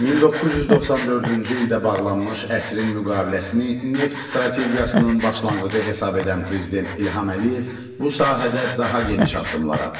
1994-cü ildə bağlanmış əsrin müqaviləsini neft strategiyasının başlanğıcı hesab edən Prezident İlham Əliyev bu sahədə daha geniş addımlar atdı.